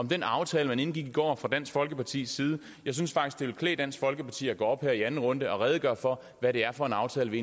den aftale man indgik i går fra dansk folkepartis side jeg synes faktisk det ville klæde dansk folkeparti at gå op her i anden runde og redegøre for hvad det er for en aftale vi